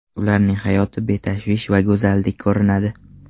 Ularning hayoti betashvish va go‘zaldek ko‘rinadi.